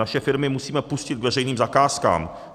Naše firmy musíme pustit k veřejným zakázkám.